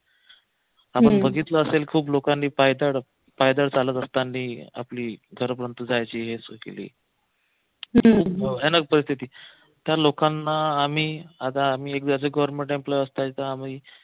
आपण बघितलं असेल खूप लोकांनी पायदळ पायदळ चालत असतानी आपली केली त्या लोकांना आम्ही आम्ही